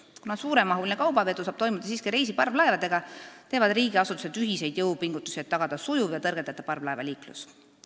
Kuna suuremahuline kaubavedu saab toimuda siiski reisiparvlaevadega, teevad riigiasutused ühiseid jõupingutusi, et tagada sujuv ja tõrgeteta parvlaevaliiklus.